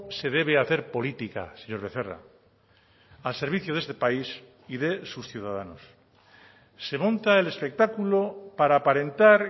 se debe hacer política señor becerra al servicio de este país y de sus ciudadanos se monta el espectáculo para aparentar